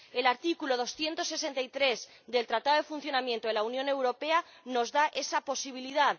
El artículo 263 del Tratado de Funcionamiento de la Unión Europea nos da esa posibilidad.